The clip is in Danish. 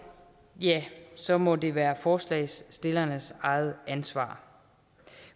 ja så må det være forslagsstillernes eget ansvar